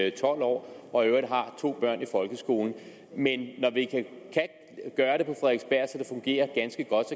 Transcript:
i tolv år og i øvrigt har to børn i folkeskolen men når det fungerer ganske godt